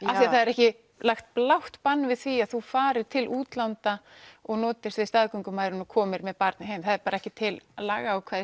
af því að það er ekki lagt blátt bann við því að þú farir til útlanda og notist við staðgöngumæðrun og komir með barnið heim það er ekki til lagaákvæði